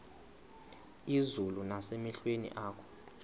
izulu nasemehlweni akho